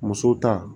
Muso ta